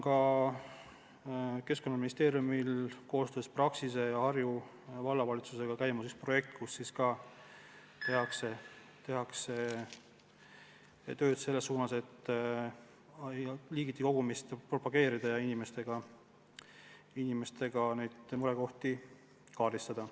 Keskkonnaministeeriumil on koostöös Praxise ja Harju Vallavalitsusega käimas üks projekt, mille raames tehakse tööd selles suunas, et liigiti kogumist propageerida ja inimestega neid murekohti kaardistada.